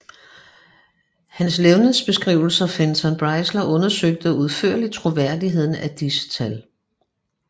Hans levnedsbeskriver Fenton Breisler undersøgte udførligt troværdigheden af disse tal